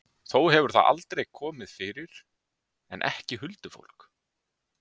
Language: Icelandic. Þó hefur það komið fyrir, en ekki huldufólk.